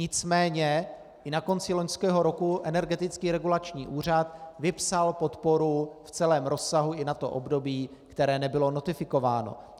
Nicméně i na konci loňského roku Energetický regulační úřad vypsal podporu v celém rozsahu i na to období, které nebylo notifikováno.